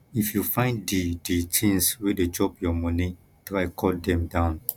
if you find di di tins wey dey chop your moni try cut dem down